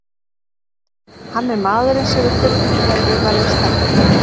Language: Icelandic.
Hann er maðurinn sem við þurfum þegar við verðum stærri.